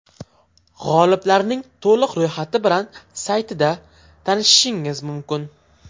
G‘oliblarning to‘liq ro‘yxati bilan saytida tanishishingiz mumkin.